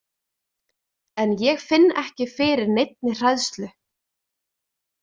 En ég finn ekki fyrir neinni hræðslu.